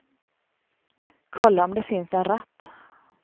Kolla om det finns en ratt.